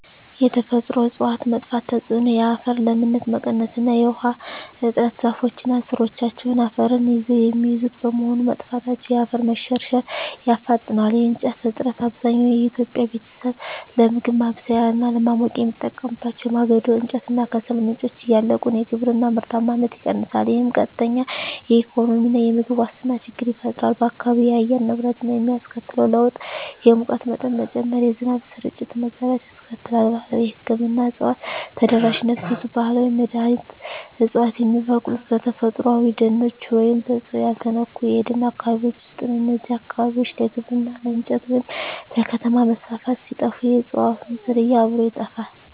የተፈጥሮ እፅዋት መጥፋት ተጽዕኖ የአፈር ለምነት መቀነስ እና የውሃ እጥረ ዛፎች እና ሥሮቻቸው አፈርን ይዘው የሚይዙት በመሆኑ፣ መጥፋታቸው የአፈር መሸርሸርን ያፋጥነዋል። የእንጨት እጥረት፣ አብዛኛው የኢትዮጵያ ቤተሰብ ለምግብ ማብሰያ እና ለማሞቂያ የሚጠቀምባቸው የማገዶ እንጨት እና ከሰል ምንጮች እያለቁ ነው። የግብርና ምርታማነት ይቀንሳል፣ ይህም ቀጥተኛ የኢኮኖሚና የምግብ ዋስትና ችግር ይፈጥራል። በአካባቢው የአየር ንብረት ላይ የሚያስከትለው ለውጥ የሙቀት መጠን መጨመር፣ የዝናብ ስርጭት መዛባት ያስከትላል። ባህላዊ የሕክምና እፅዋት ተደራሽነት ብዙ ባህላዊ መድኃኒት ዕፅዋት የሚበቅሉት በተፈጥሮአዊ ደኖች ወይም በሰው ያልተነኩ የደን አካባቢዎች ውስጥ ነው። እነዚህ አካባቢዎች ለግብርና፣ ለእንጨት ወይም ለከተማ መስፋፋት ሲጠፉ፣ የእፅዋቱም ዝርያ አብሮ ይጠፋል።